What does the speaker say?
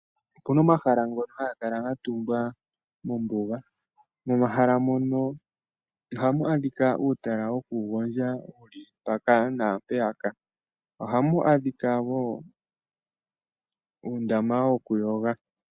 Opuna omahala ngoka ga tungwa mombuga momahala mono ohamu adhika uutala woku gondja wuli mpaka naapeyaka, ohamu adhika wo uundama woku yoga.